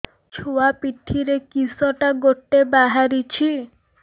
ଛୁଆ ପିଠିରେ କିଶଟା ଗୋଟେ ବାହାରିଛି